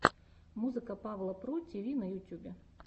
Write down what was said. музыка павла про тиви на ютьюбе